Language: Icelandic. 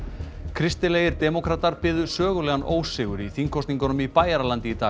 kristilegir demókratar biðu sögulegan ósigur í þingkosningum í Bæjaralandi í dag